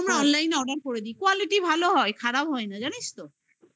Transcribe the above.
আমরা online order করে দিই quality ভালো হয় খারাপ হয় না জানিস তো